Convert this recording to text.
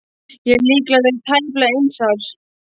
Ég hef líklega verið tæplega eins árs.